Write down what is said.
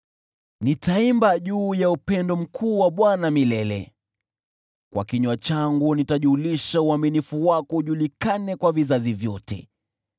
Nitaimba juu ya upendo mkuu wa Bwana milele; kwa kinywa changu nitajulisha uaminifu wako ujulikane kwa vizazi vyote.